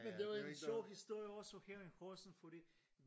Men det er jo en sjov historie også her i Horsens fordi